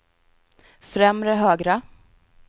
främre högra